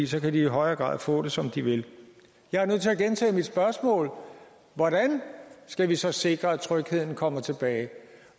så kan de i højere grad få det som de vil jeg er nødt til at gentage mit spørgsmål hvordan skal vi så sikre at trygheden kommer tilbage